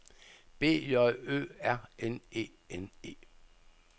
B J Ø R N E N E